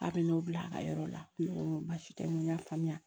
A bɛ n'o bila a ka yɔrɔ la baasi tɛ n ko n y'a faamuya